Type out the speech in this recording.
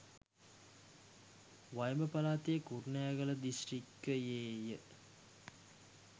වයඹ පළාතේ කුරුණෑගල දිස්ත්‍රික්කයේ ය.